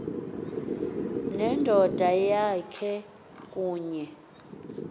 nendoda yakhe kunye